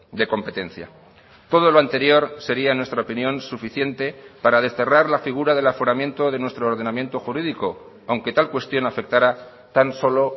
de competencia todo lo anterior sería en nuestra opinión suficiente para desterrar la figura del aforamiento de nuestro ordenamiento jurídico aunque tal cuestión afectara tan solo